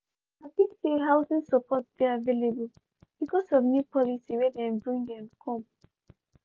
dem um happy say housing support dey available bcoz of new policy wey dem bring um come.